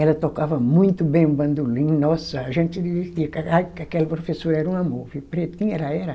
Ela tocava muito bem o bandolim, nossa, a gente dizia que aquela professora era um amor, pretinha ela era.